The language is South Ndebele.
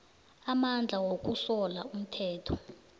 amandla wokusola umthetho